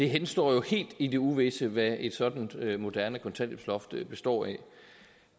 henstår helt i det uvisse hvad et sådant moderne kontanthjælpsloft består af